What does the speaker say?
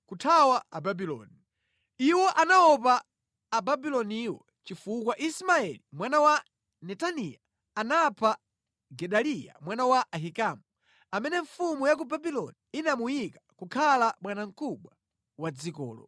kuthawa Ababuloni. Iwo anaopa Ababuloniwo chifukwa Ismaeli mwana wa Netaniya anapha Gedaliya mwana wa Ahikamu, amene mfumu ya ku Babuloni inamuyika kukhala bwanamkubwa wa dzikolo.